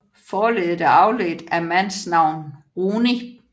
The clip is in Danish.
Forleddet er afledt af mandsnavn Runi